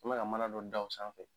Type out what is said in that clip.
I mana mana dɔ da o sanfɛ